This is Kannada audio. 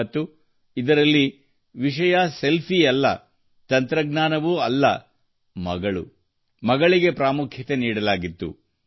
ಮತ್ತು ಇದರಲ್ಲಿ ವಿಷಯ ಸೆಲ್ಫಿಯಲ್ಲ ತಂತ್ರಜ್ಞಾನವೂ ಅಲ್ಲ ಮಗಳು ಮಗಳಿಗೆ ಪ್ರಾಮುಖ್ಯತೆ ನೀಡಲಾಗಿತ್ತು